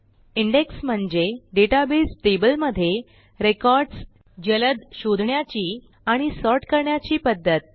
index म्हणजे database टेबलमध्ये records जलद शोधण्याची आणि सॉर्ट करण्याची पध्दत